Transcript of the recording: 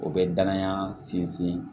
O bɛ danaya sinsin